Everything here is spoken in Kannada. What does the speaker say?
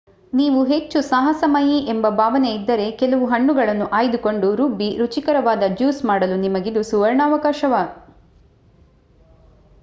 ನೀವು ಹೆಚ್ಚು ಸಾಹಸಮಯಿ ಎಂಬ ಭಾವನೆಯಿದ್ದರೆ ಕೆಲವು ಹಣ್ಣುಗಳನ್ನು ಆಯ್ದುಕೊಂಡು ರುಬ್ಬಿ ರುಚಿಕರವಾದ ಜ್ಯೂಸ್ ಮಾಡಲು ನಿಮಗಿದು ಸುವರ್ಣಾವಕಾಶ